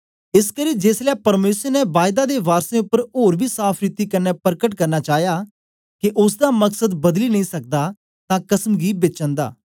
एसकरी जेसलै परमेसर ने बायदा दे वारसें उपर ओर बी साफ़ रीति कन्ने परकट करना चाया के ओसदा मकसद बदली नेई सकदा तां कसम गी बेच अन्दा